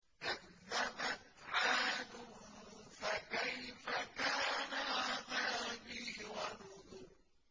كَذَّبَتْ عَادٌ فَكَيْفَ كَانَ عَذَابِي وَنُذُرِ